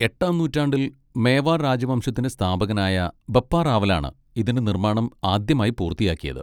എട്ടാം നൂറ്റാണ്ടിൽ മേവാർ രാജവംശത്തിന്റെ സ്ഥാപകനായ ബപ്പ റാവലാണ് ഇതിന്റെ നിർമ്മാണം ആദ്യമായി പൂർത്തിയാക്കിയത്.